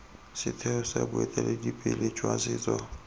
setheo sa boeteledipele jwa setso